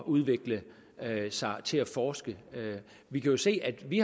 udvikle sig til at forske vi kan jo se at vi